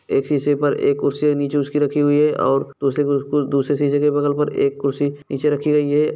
एक शीशे पर एक कुर्सी नीचे उसकी रखी हुई है और दूसरे दूसरे शीशे के बगल पर एक कुर्सी नीचे रखी गई है।